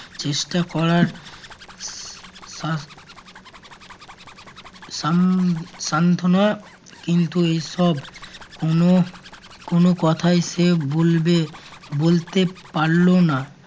চেষ্টা করার আহ শান~ শান্ত্বনা কিন্তু এসব কোন কোন কথাই সে বলবে বলতে পারল না।